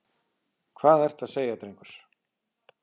Hvað ertu að segja, drengur?